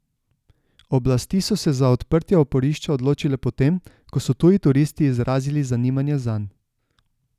Oblasti so se za odprtje oporišča odločile potem, ko so tuji turisti izrazili zanimanje zanj.